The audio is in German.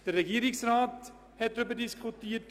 Der Regierungsrat hat über diese Sache diskutiert.